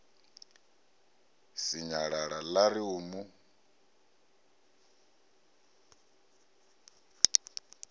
sinyalala ḽa ri u mu